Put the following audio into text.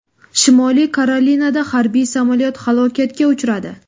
Shimoliy Karolinada harbiy samolyot halokatga uchradi.